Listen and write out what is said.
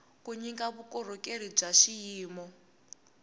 ku nyika vukorhokeri bya xiyimo